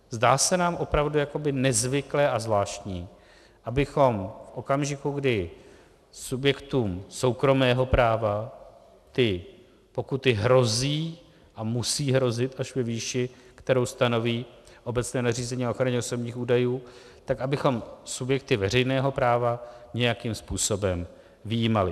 Zdá se nám opravdu jakoby nezvyklé a zvláštní, abychom v okamžiku, kdy subjektům soukromého práva ty pokuty hrozí a musí hrozit až ve výši, kterou stanoví obecné nařízení o ochraně osobních údajů, tak abychom subjekty veřejného práva nějakým způsobem vyjímali.